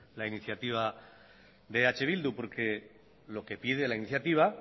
la iniciativa de eh bildu porque lo que pide la iniciativa